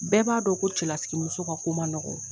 Bɛɛ b'a dɔn ko cɛlasigi muso ka ko man nɔgɔ.